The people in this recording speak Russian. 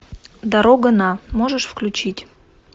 дорога на можешь включить